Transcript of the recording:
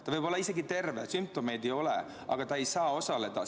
Ta võib olla isegi terve, sümptomeid ei ole, aga ta ei saa osaleda.